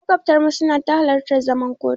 Maƙwabtanmu suna ta halartar zuman kotu.